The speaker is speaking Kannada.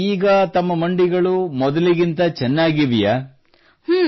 ಅಂದರೆ ಈಗ ತಮ್ಮ ಮಂಡಿಗಳು ಮೊದಲಿನಂತೆ ಚೆನ್ನಾಗಿವೆಯೇ